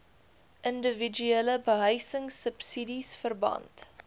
indiwiduele behuisingsubsidies verband